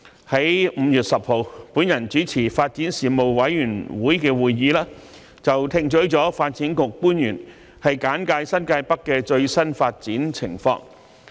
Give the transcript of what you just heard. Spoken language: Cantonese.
在5月10日由我主持的發展事務委員會會議上，我們聽取了發展局官員簡介新界北的最新發展情況。